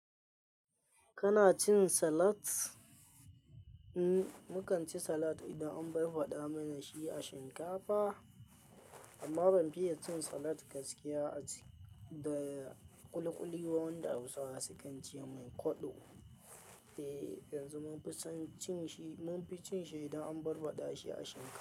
Kana cin salat? Mm, mu kan ci salat idan an barbaɗa mana shi a shinkafa. Amma ban fiye cin salat gaskiya a ci da ƙuliƙuli wanda Hausawa sukan ce mai koɗo. Eh, yanzu mun fi cin shi, mun fi cin shi idan an barbaɗa shi a shinkafa.